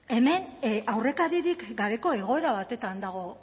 hemen aurrekaririk gabeko egoera batean dago